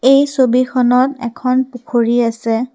এই ছবিখনত এখন পুখুৰী আছে।